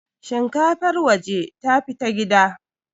shinkafar waje ta fita gida